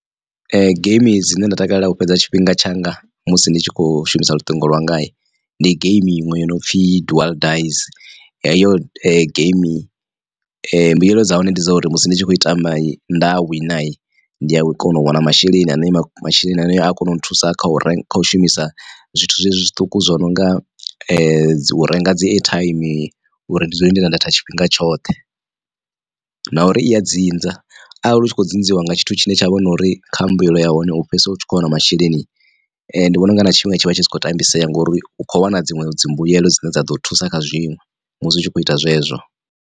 Geimi dzine nda takalela u fhedza tshifhinga tshanga musi ndi tshi kho shumisa luṱingo lwanga ndi geimi iṅwe yo no pfhi dual dize. Heyo game mbuyelo dza hone ndi dza uri musi ndi tshi khou tamba nda wina ndi a kona u wana masheleni ane masheleni haneyo a kona u nthusa kha u renga u shumisa zwithu zwezwi zwiṱuku zwo no nga u renga dzi airtime uri ndi dzule ndi na data tshifhinga tshoṱhe. Na uri iya dzinza arali u tshi kho dzinziwa nga tshithu tshine tsha vha na uri kha mbuyelo ya hone u fhedzisela u tshi khou wana masheleni ndi vhona unga na tshifhinga tshi vha tshi sa khou tambisea ngori u kho wana dziṅwe dzimbuelo dzine dza ḓo thusa kha zwinwe musi u tshi kho ita zwezwo.